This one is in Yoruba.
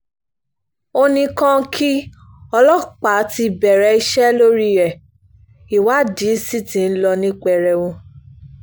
ó ní kàǹkì ọlọ́pàá ti bẹ̀rẹ̀ iṣẹ́ lórí ẹ̀ ìwádìí sí ti ń lọ ní pẹrẹwu